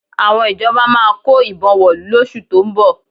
Àwọn ìjọba máa kó ìbọn wọ̀lú lóṣù tó ń bọ̀